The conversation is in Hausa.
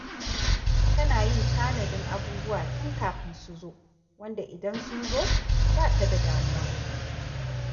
Tana yin tanadin abubuwa tun kafin su zo, wanda idan sun zo ba ta damuwa